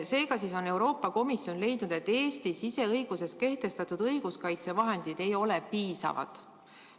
Seega on Euroopa Komisjon leidnud, et Eesti õiguses kehtestatud õiguskaitsevahendid ei ole piisavad.